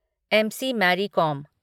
MC. Mary कोम